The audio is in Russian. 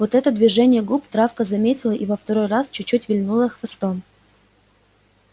вот это движение губ травка заметила и во второй раз чуть-чуть вильнула хвостом